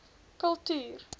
kultuur